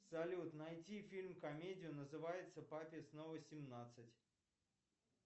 салют найти фильм комедию называется папе снова семнадцать